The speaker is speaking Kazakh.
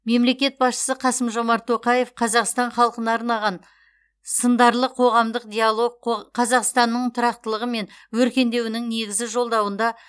мемлекет басшысы қасым жомарт тоқаев қазақстан халқына арнаған сындарлы қорғамдық диалог қо қазақстанның тұрақтылығы мен өркендеуінің негізі жолдауында